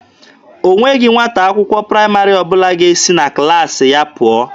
O nweghị nwata akwụkwọ praịmarị ọbụla ga-esi na klaasị ya pụọ.